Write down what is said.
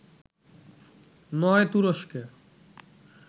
নয় তুরস্কে